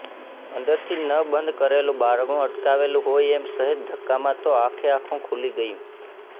અંદરથી ન બંધ કરેલું બારણું અટકાવેલું હોય એમ સહેજ ધક્કામાં તો આખેઆખું ખૂલી ગયું